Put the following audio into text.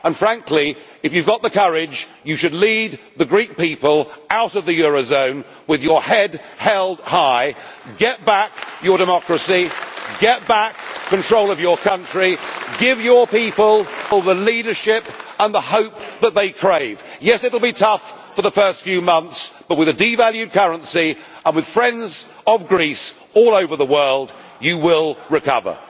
And frankly, if you have got the courage, you should lead the Greek people out of the eurozone with your head held high get back your democracy, get back control of your country, give your people the leadership and the hope that they crave. Yes, it will be tough for the first few months, but with a devalued currency, and with friends of Greece all over the world, you will recover.